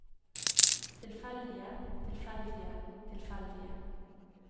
tilfeldige tilfeldige tilfeldige